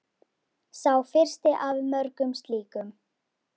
Sá fyrsti af mörgum slíkum.